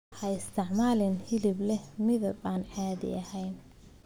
Ha isticmaalin hilib leh midab aan caadi ahayn.